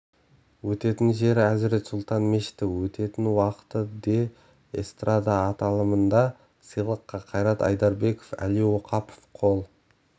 өтетін жері әзірет сұлтан мешіті өтетін уақыты де эстрада аталымында сыйлыққа қайрат айдарбеков әли оқапов қол